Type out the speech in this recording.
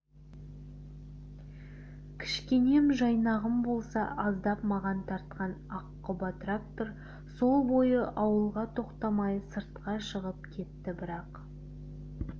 кішкенем жайнағым болса аздап маған тартқан аққұба трактор сол бойы ауылға тоқтамай сыртқа шығып кетті бірақ